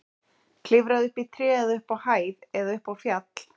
Klifraðu upp í tré eða upp á hæð eða upp á fjall.